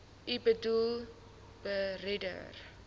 u boedel beredder